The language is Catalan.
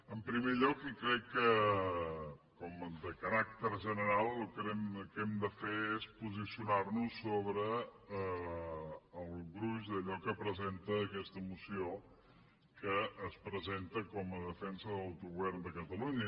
en primer lloc i crec que com a caràcter general el que hem de fer és posicionar·nos sobre el gruix d’allò que presenta aquesta moció que es presenta com a de·fensa de l’autogovern de catalunya